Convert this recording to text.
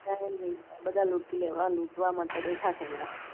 આ બધા લુટી લેવા લૂટવા મારે માટે બેઠા છે બધા